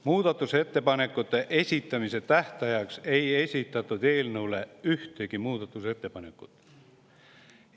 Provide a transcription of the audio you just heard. Muudatusettepanekute esitamise tähtajaks ei esitatud eelnõu kohta ühtegi muudatusettepanekut.